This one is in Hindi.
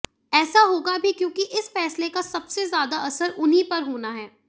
ऐसा होगा भी क्योंकि इस फ़ैसले का सबसे ज़्यादा असर उन्ही पर होना है